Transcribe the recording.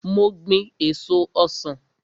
Mo gbin èso ọsan.